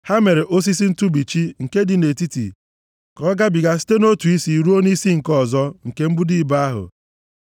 Ha mere osisi ntụbichi nke dị nʼetiti ka ọ gabiga site nʼotu isi ruo nʼisi nke ọzọ nke mbudo ibo ahụ.